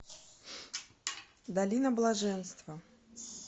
долина блаженства